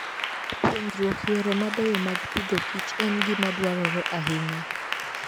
Puonjruok yore mabeyo mag pidhokich en gima dwarore ahinya.